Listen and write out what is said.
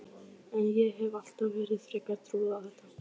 En ég hef alltaf verið frekar trúuð á þetta.